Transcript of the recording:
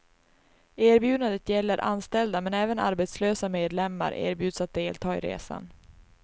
Erbjudandet gäller anställda, men även arbetslösa medlemmar erbjuds att delta i resan.